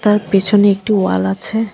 তার পেছনে একটি ওয়াল আছে।